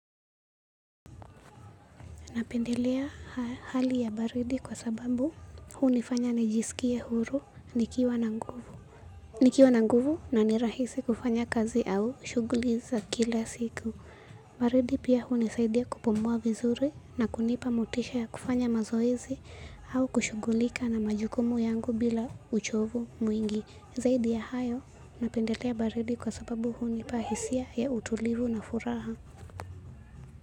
Napendelea hali ya baridi kwa sababu hunifanya nijisikie huru, nikiwa na nguvu na ni rahisi kufanya kazi au shughuli za kila siku. Baridi pia hunisaidia kupumua vizuri na kunipa motisha ya kufanya mazoezi au kushughulika na majukumu yangu bila uchovu mwingi. Zaidi ya hayo napendelea baridi kwa sababu hunipa hisia ya utulivu na furaha.